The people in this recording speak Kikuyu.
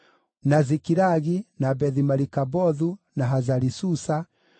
na Zikilagi, na Bethi-Marikabothu, na Hazari-Susa,